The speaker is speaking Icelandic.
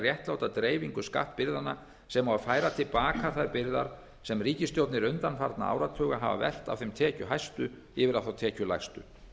réttláta dreifingu skattbyrðanna sem og að færa til baka þær byrðar sem ríkisstjórnir undanfarinna áratuga hafa velt af þeim tekjuhæstu yfir á þá tekjulægstu